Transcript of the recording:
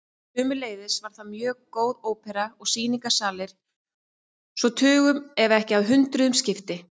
Sömuleiðis var þar mjög góð ópera og sýningarsalir svo tugum ef ekki hundruðum skipti.